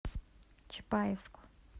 чапаевску